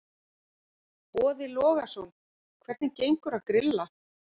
Boði Logason: Hvernig gengur að grilla?